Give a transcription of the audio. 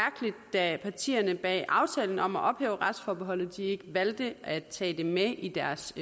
da partierne bag aftalen om at ophæve retsforbeholdet ikke valgte at tage det med i deres